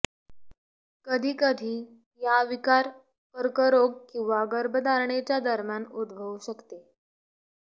कधी कधी या विकार कर्करोग किंवा गर्भधारणेच्या दरम्यान उद्भवू शकते